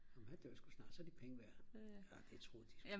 men han dør sgu snart så er de penge værd arh det tror de sgu ik